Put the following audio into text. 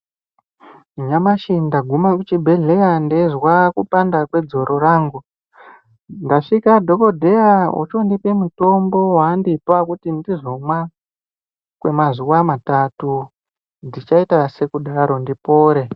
Nyamashi ndaguma kuchibhehleya ndeizwa kupanda kwedzoro rangu. Ndasvika dhokodheya ochondipe mutombo waandipa kuti ndizomwa kwemazuwa matatu ndichaita sekudaro ndipore.